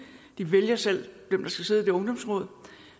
de vælger selv hvem der skal sidde i de ungdomsråd